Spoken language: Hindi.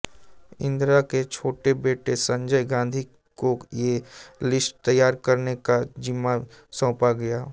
इंदिरा के छोटे बेटे संजय गांधी को ये लिस्ट तैयार करने का जिम्मा सौंपा गया